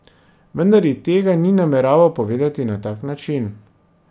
Vendar ji tega ni nameraval povedati na tak način.